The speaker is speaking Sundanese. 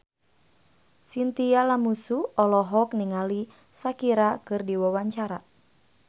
Chintya Lamusu olohok ningali Shakira keur diwawancara